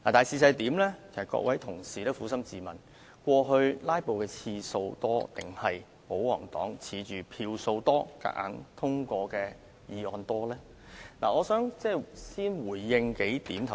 請各位同事撫心自問，過往"拉布"的次數較多，還是保皇黨倚仗表決時的票數優勢而強行通過議案的次數較多？